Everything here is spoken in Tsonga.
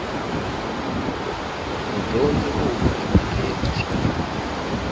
mudyondzi u huma emhakeni naswona